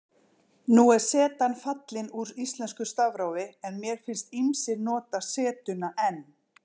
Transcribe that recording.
Nú er zetan fallin úr íslensku stafrófi en mér finnst ýmsir nota zetuna enn.